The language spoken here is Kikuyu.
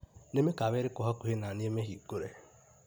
Nĩ mĩkawa ĩrĩkũ hakuhĩ naniĩ mĩhingũre?